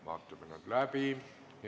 Vaatame need läbi.